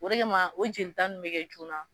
O de kama o joli ta nunnu be kɛ joona.